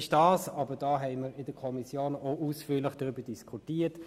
Wir haben in der Kommission ausführlich darüber diskutiert.